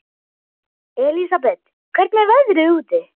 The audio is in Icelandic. Elísabet, hvernig er veðrið úti?